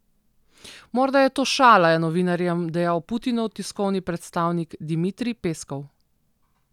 Morda je to šala, je novinarjem dejal Putinov tiskovni predstavnik Dmitrij Peskov.